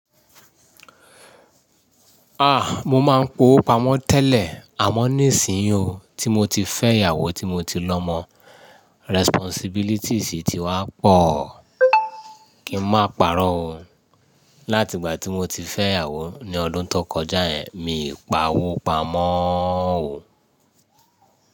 A! Mo máa ń kowo pamọ́ tẹ́lẹ̀ àmọ́ nísìnyí o, tí mo ti fẹ́ ìyàwó tí mo ti lọmọ, responsibilities ti wá pọ̀, kí n máa pàrọ̀ o. Láti ìgbà tí mo ti fẹ́ ìyàwó ní ọdún tó kọjá yẹn, mi ì p'awó pamọ́ o.